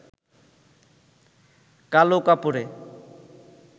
কালো কাপড়ে